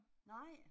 Nej